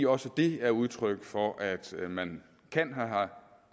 også er udtryk for at man kan